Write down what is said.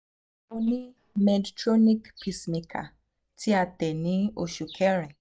mo ni medtronic pacemaker ti a te ni oṣu kẹrin